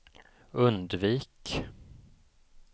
undvik